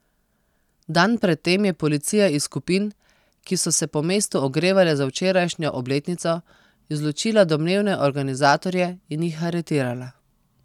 Dan pred tem je policija iz skupin, ki so se po mestu ogrevale za včerajšnjo obletnico, izločila domnevne organizatorje in jih aretirala.